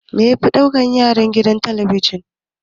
Me yafi ɗaukan hankalin yaranka a gidan talabijin?